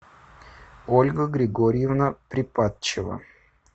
ольга григорьевна припадчева